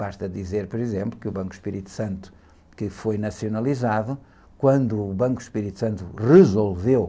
Basta dizer, por exemplo, que o Banco Espírito Santo, que foi nacionalizado, quando o Banco Espírito Santo resolveu